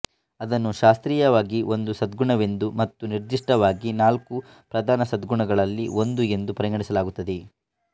ಅದನ್ನು ಶಾಸ್ತ್ರೀಯವಾಗಿ ಒಂದು ಸದ್ಗುಣವೆಂದು ಮತ್ತು ನಿರ್ದಿಷ್ಟವಾಗಿ ನಾಲ್ಕು ಪ್ರಧಾನ ಸದ್ಗುಣಗಳಲ್ಲಿ ಒಂದು ಎಂದು ಪರಿಗಣಿಸಲಾಗುತ್ತದೆ